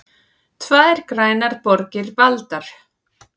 Tvær grænar borgir valdar